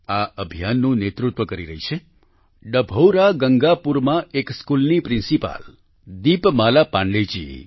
આ અભિયાનનું નેતૃત્વ કરી રહી છે ડભૌરા ગંગાપુરમાં એક સ્કૂલની પ્રિન્સિપાલ દીપમાલા પાંડેજી